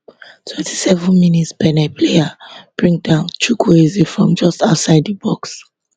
twenty seven mins benin player bring down chukwueze from just outside di box